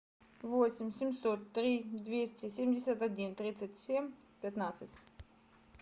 восемь семьсот три двести семьдесят один тридцать семь пятнадцать